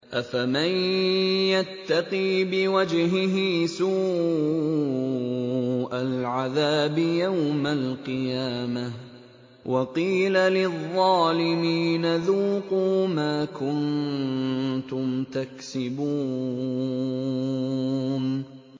أَفَمَن يَتَّقِي بِوَجْهِهِ سُوءَ الْعَذَابِ يَوْمَ الْقِيَامَةِ ۚ وَقِيلَ لِلظَّالِمِينَ ذُوقُوا مَا كُنتُمْ تَكْسِبُونَ